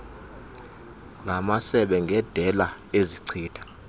lamasebe ngendela ezichitha